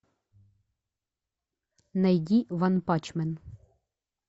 найди ванпанчмен